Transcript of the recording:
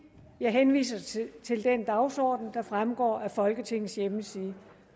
jeg henviser til den dagsorden der fremgår af folketingets hjemmeside